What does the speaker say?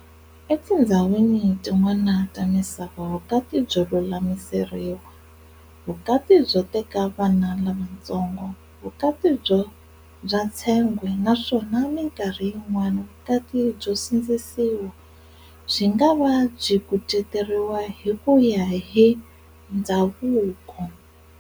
E tindzhawini tin'wana ta misava, vukati byo lulamiseleriwa, vukati byo teka vana lavatsongo, vukati bya tshengwe naswona minkarhi yin'wana vukati byo sindzisiwa, byi nga va byi kuceteriwa hi kuya hi ndzhavuko.